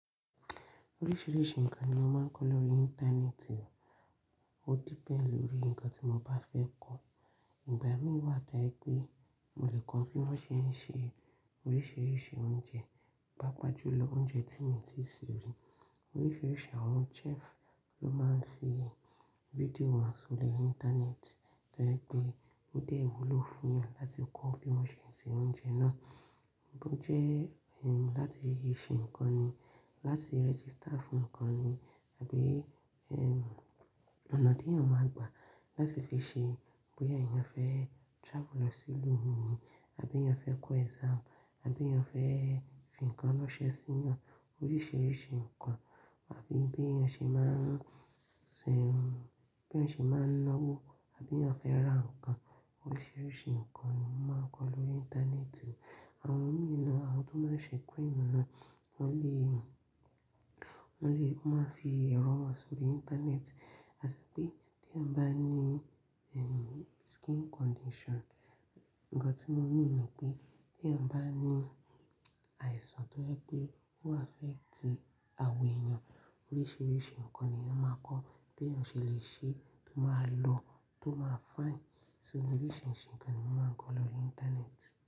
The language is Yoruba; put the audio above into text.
Oríṣìíríṣìí nǹkan ni a máa ń kọ lórí Íńtánẹ́ẹ̀tì, ó depend lórí nǹkan tí mo bá fẹ́ kọ̀. Ìgbà mí wà to ẹ pé mo lè kọ bí wọ́n ṣe ń ṣe oríṣìíríṣìí oúnjẹ, paá pàájù lọ oúnjẹ tí mii ti se rí. Oríṣìíríṣìí àwọn chef ló máa ń fi video hàn sórí Íńtánẹ́ẹ̀tì tó ẹ pé ó lè wúlò fún yan láti kọ́ bí wọ́n ṣe ń se oúnjẹ náà. Bó jẹ́ ẹ láti ṣe nǹkan ni, láti rẹ́gístà fún nǹkan ni àbí ẹ onà te yan ma gbà láti fi ṣe bóyá èèyàn fẹ́ travel lọ sí ìlú mìí ni àbí èèyàn fẹ́ kọ exam àbí èèyàn fẹ́ fi nǹkan ránṣẹ́ sí yan, oríṣìíríṣìí nǹkan àbí bí ẹṣe máa ń se, bí èèyàn ṣe máa ń náwó àbí èèyàn fẹ́ ra nǹkan. Oríṣìíríṣìí nǹkan ni a máa ń kọ lórí Íńtánẹ́ẹ̀tì. Àwọn mìí naa, àwọn tó máa ń ṣe cream náà wọ́n lè, wọ́n lè, wọ́n máa ń fi irọn hàn sórí Íńtánẹ́ẹ̀tì. Ati pé tí èèyàn bá ní ẹm skin condition, nǹkan tí mo mean ni pé tí èèyàn bá ní àìsàn tó ẹ pé ó affect àwọ̀ èèyàn, oríṣìíríṣìí nǹkan ni èèyàn máa kọ́ bí èèyàn ṣe lè ṣe tó máa lọ, tó máa fìne. So oríṣìíríṣìí nǹkan ni a máa ń kọ lórí Íńtánẹ́ẹ̀tì.